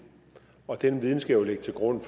og den viden skal jo ligge til grund